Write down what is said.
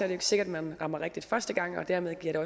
det ikke sikkert man rammer rigtigt første gang dermed giver